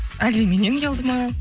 әлде меннен ұялды ма